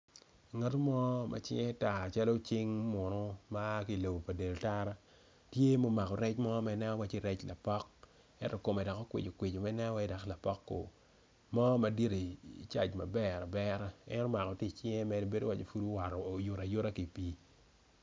Ngat mo macinge tar calo cing munu ma aa kilobo dul tara tye ma omako rec mo manen waci rec lapok ento kome dok okwicikwici manen waci lapok ku mo madit i caic maberabera en omako tye i cinge bedo waco oyuto ayuta ki pi.